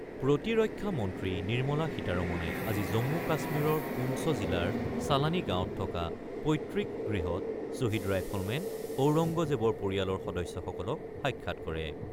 প্ৰতিৰক্ষা মন্ত্ৰী নিৰ্মলা সীতাৰমনে আজি জম্মু-কাশ্মীৰৰ পুঞ্চ জিলাৰ চালানী গাঁৱত থকা পৈত্ৰিক গৃহত শ্বহীদ ৰাইফলমেন ঔৰংগজেৱৰ পৰিয়ালৰ সদস্যসকলক সাক্ষাৎ কৰে।